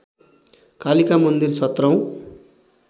कालिका मन्दिर सत्रौँ